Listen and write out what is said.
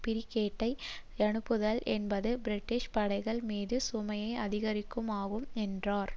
பிரிகேட்டை அனுப்புதல் என்பது பிரிட்டிஷ் படைகள் மீது சுமையை அதிகமாக்கும் என்றார்